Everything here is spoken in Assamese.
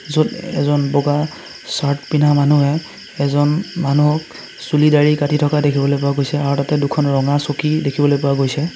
য'ত এজন বগা চাৰ্ট পিন্ধা মানুহে এজন মানুহক চুলি দাড়ি কাটি থকা দেখিবলৈ পোৱা গৈছে আৰু তাতে দুখন ৰঙা চকী দেখিবলৈ পোৱা গৈছে।